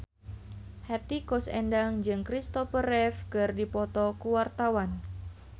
Hetty Koes Endang jeung Christopher Reeve keur dipoto ku wartawan